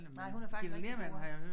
Nej hun er faktisk rigtig god